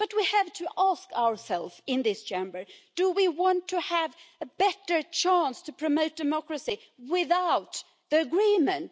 But we have to ask ourselves in this Chamber do we want to have a better chance to promote democracy without the Agreement?